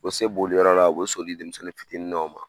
U bi se boli yɔrɔ la, u bi so di denmisɛnnin fitinin dɔw ma.